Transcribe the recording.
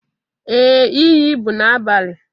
Ee, iyi bụ n'abalị